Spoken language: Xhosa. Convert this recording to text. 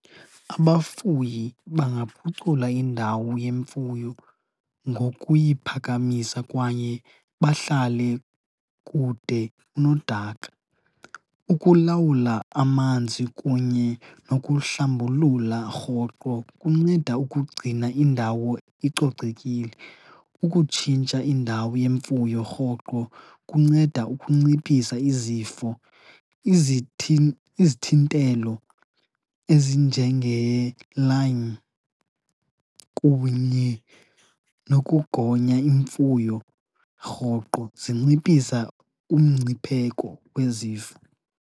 Abafuyi bangaphucula indawo yemfuyo ngokuyiphakamisa kwaye bahlale kude kunodaka. Ukulawula amanzi kunye nokuhlambulula rhoqo kunceda ukugcina indawo icocekile. Ukutshintsha indawo yemfuyo rhoqo kunceda ukunciphisa izifo. Izithintelo ezinje ngelayimi kunye nokugonya imfuyo rhoqo zinciphisa umngcipheko wezifo.